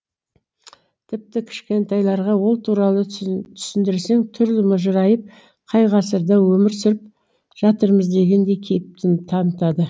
тіпті кішкентайларға ол туралы түсіндірсең түрлері мыжырайып қай ғасырда өмір сүріп жатырмыз дегендей кейіп танытады